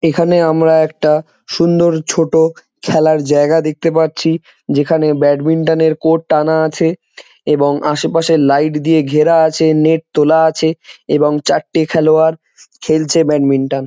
এখানে আমরা একটা সুন্দর ছোট খেলার জায়গা দেখতে পাচ্ছি যেখানে ব্যাডমিন্টন এর কোর্ট টানা আছে এবং আশেপাশে লাইট দিয়ে ঘেরা আছে নেট তোলা আছে এবং চারটে খেলোয়াড় খেলছে ব্যাডমিন্টন ।